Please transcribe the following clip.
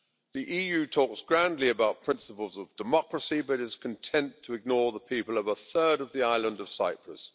The EU talks grandly about principles of democracy, but it is content to ignore the people of a third of the island of Cyprus.